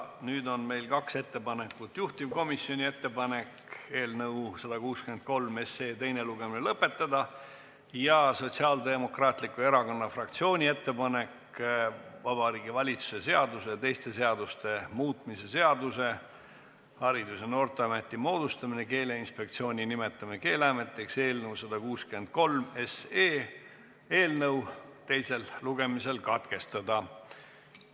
Nüüd on meil kaks ettepanekut: juhtivkomisjoni ettepanek eelnõu 163 teine lugemine lõpetada ja Sotsiaaldemokraatliku Erakonna fraktsiooni ettepanek Vabariigi Valitsuse seaduse ja teiste seaduste muutmise seaduse eelnõu 163 menetlus teisel lugemisel katkestada.